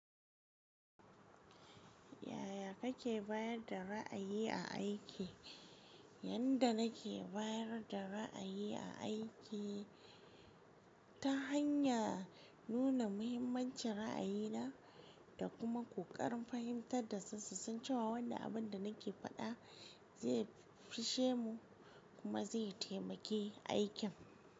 Yaya kake bayar da ra'ayi a aiki? Yanda nake bayar da ra'ayi a aiki ta hanya nuna muhimmancin ra'ayina da kuma ƙoƙarin fahimtar dasu susan cewa wannan abin da nake faɗa zai fishe mu kuma zai taimaki aikin.